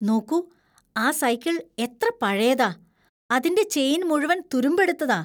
നോക്കൂ ,ആ സൈക്കിൾ എത്ര പഴയതാ, അതിന്‍റെ ചെയിൻ മുഴുവൻ തുരുമ്പെടുത്തതാ.